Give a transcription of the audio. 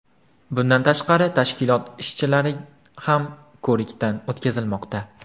Bundan tashqari, tashkilot ishchilari ham ko‘rikdan o‘tkazilmoqda.